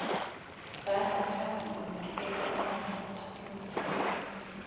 barata ho nkeletsa ho phahamisetsa